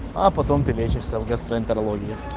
а потом ты лечишься в гастроэнтерологии